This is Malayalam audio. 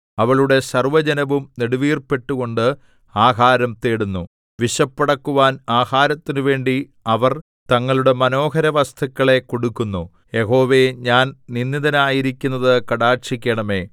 അവളുടെ സർവ്വജനവും നെടുവീർപ്പിട്ടുകൊണ്ട് ആഹാരം തേടുന്നു വിശപ്പടക്കുവാൻ ആഹാരത്തിന് വേണ്ടി അവർ തങ്ങളുടെ മനോഹര വസ്തുക്കളെ കൊടുക്കുന്നു യഹോവേ ഞാൻ നിന്ദിതയായിരിക്കുന്നത് കടാക്ഷിക്കേണമേ